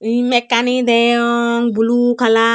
hi mekkani deyong blue kala.